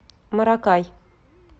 маракай